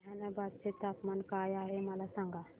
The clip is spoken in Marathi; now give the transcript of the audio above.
जहानाबाद चे तापमान काय आहे मला सांगा